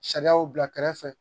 Sariyaw bila kɛrɛfɛ